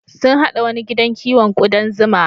Sun haɗa wani gidan kiwon ƙudan zuma.